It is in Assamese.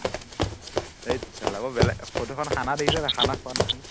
হেৎ বৰ বেলেগ ফটোখন খানা দেখিছ নাই খানা খোৱা নিচিনা